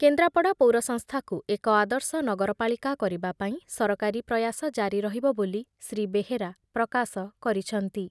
କେନ୍ଦ୍ରାପଡ଼ା ପୌର ସଂସ୍ଥାକୁ ଏକ ଆଦର୍ଶ ନଗରପାଳିକା କରିବା ପାଇଁ ସରକାରୀ ପ୍ରୟାସ ଜାରି ରହିବ ବୋଲି ଶ୍ରୀ ବେହେରା ପ୍ରକାଶ କରିଛନ୍ତି ।